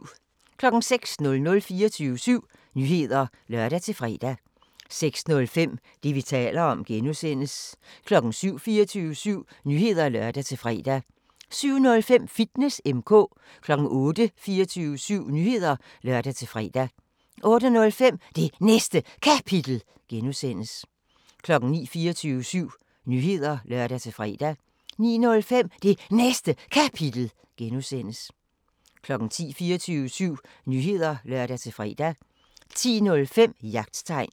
06:00: 24syv Nyheder (lør-fre) 06:05: Det, vi taler om (G) 07:00: 24syv Nyheder (lør-fre) 07:05: Fitness M/K 08:00: 24syv Nyheder (lør-fre) 08:05: Det Næste Kapitel (G) 09:00: 24syv Nyheder (lør-fre) 09:05: Det Næste Kapitel (G) 10:00: 24syv Nyheder (lør-fre) 10:05: Jagttegn